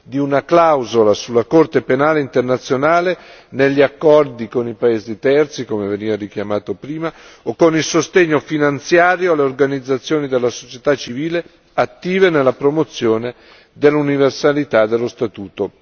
di una clausola sulla Corte penale internazionale negli accordi con i paesi terzi come veniva richiamato prima o con il sostegno finanziario alle organizzazioni della società civile attive nella promozione dell'universalità dello Statuto.